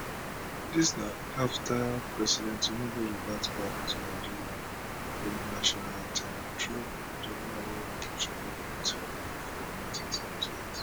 dis na afta president tinubu revert back to nigeria old national anthem and drop di one wey military govment approve for